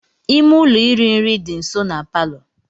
Ime ụlọ iri nri dị nso na palọ.